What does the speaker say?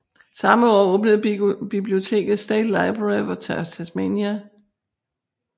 Samme år åbnede biblioteket State Library of Tasmania